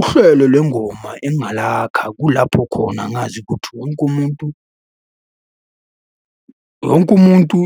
Uhlelo lwengoma engingalakha kulapho khona ngazi ukuthi wonke umuntu. Wonke umuntu,